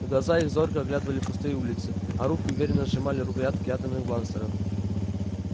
глаза их зорко оглядывали пустые улицы а руки уверенно сжимали рукоятки атомных бластеров